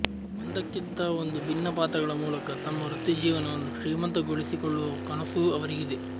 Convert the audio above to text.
ಒಂದಕ್ಕಿಂತ ಒಂದು ಭಿನ್ನ ಪಾತ್ರಗಳ ಮೂಲಕ ತಮ್ಮ ವೃತ್ತಿಜೀವನವನ್ನು ಶ್ರೀಮಂತ ಗೊಳಿಸಿ ಕೊಳ್ಳುವ ಕನಸೂ ಅವರಿಗಿದೆ